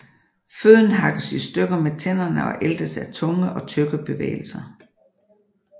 Føden hakkes i stykker med tænderne og æltes af tunge og tyggebevægelser